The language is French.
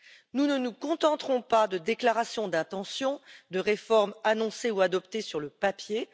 Nous ne nous contenterons pas de déclarations d'intention, de réformes annoncées ou adoptées sur le papier.